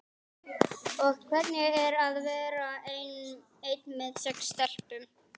Og hvernig er að vera einn með sex stelpum?